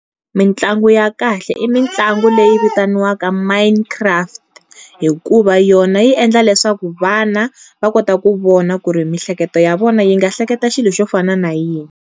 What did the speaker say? Mintlangu ya kahle i mitlangu leyi vitaniwaka mine craft, hikuva yona yi endla leswaku vana va kota ku vona ku ri miehleketo ya vona yi nga hleketa xilo xo fana na yini.